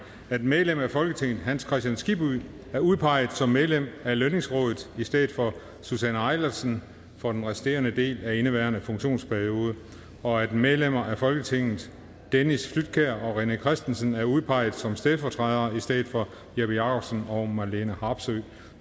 at medlem af folketinget hans kristian skibby er udpeget som medlem af lønningsrådet i stedet for susanne eilersen for den resterende del af indeværende funktionsperiode og at medlemmer af folketinget dennis flydtkjær og rené christensen er udpeget som stedfortrædere i stedet for jeppe jakobsen og marlene harpsøe